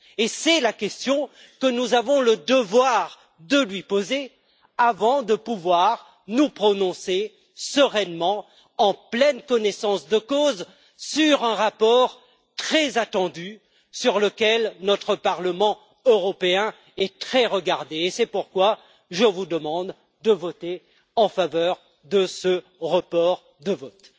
Et c'est la question que nous avons le devoir de lui poser avant de pouvoir nous prononcer sereinement, en pleine connaissance de cause, sur un rapport très attendu sur lequel notre Parlement européen est très regardé, et c'est pourquoi je vous demande de voter en faveur de ce report de vote.